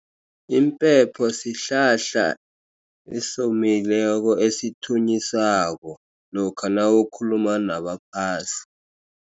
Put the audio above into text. Impepho sihlahla esomileko, esithunyiswako lokha nawukhuluma nabaphasi.